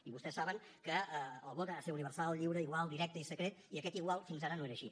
i vostès saben que el vot ha de ser universal lliure igual directe i secret i aquest igual fins ara no era així